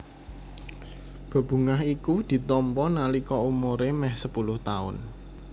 Bebungah iku ditampa nalika umuré mèh sepuluh taun